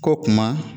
Ko kuma